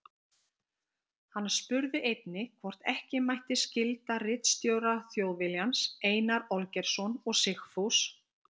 Hann spurði einnig, hvort ekki mætti skylda ritstjóra Þjóðviljans, Einar Olgeirsson og Sigfús